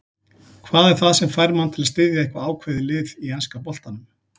Hvað er það sem fær mann til að styðja eitthvað ákveðið lið í enska boltanum?